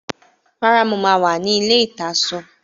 Rárá, mo máa wà ní ilé-ìtasọ